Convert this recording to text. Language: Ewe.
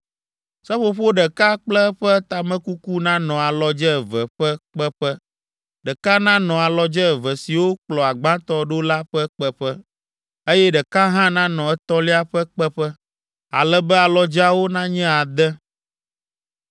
Seƒoƒo ɖeka kple eƒe tamekuku nanɔ alɔdze eve ƒe kpeƒe; ɖeka nanɔ alɔdze eve siwo kplɔ gbãtɔ ɖo la ƒe kpeƒe, eye ɖeka hã nanɔ etɔ̃lia ƒe kpeƒe, ale be alɔdzeawo nanye ade.